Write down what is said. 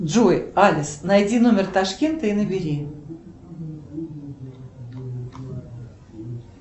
джой алис найди номер ташкента и набери